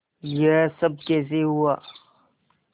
यह सब कैसे हुआ